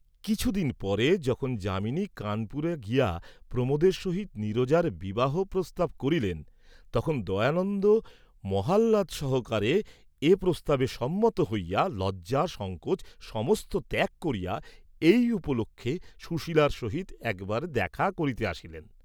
কিছু দিন পরে যখন যামিনী কানপুরে গিয়া প্রমোদের সহিত নীরজার বিবাহপ্রস্তাব করিলেন, তখন দয়ানন্দ মহাহ্লাদ সহকারে এ প্রস্তাবে সম্মত হইয়া লজ্জা সঙ্কোচ সমস্ত ত্যাগ করিয়া এই উপলক্ষে সুশীলার সহিত একবার দেখা করিতে আসিলেন।